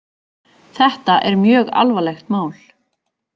Þetta er mjög alvarlegt mál